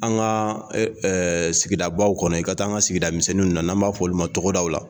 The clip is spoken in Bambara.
An ka sigidabaw kɔnɔ, i ka taa an ka sigidamisɛnninw na, n' an b'a fɔ olu ma tɔgɔdaw la.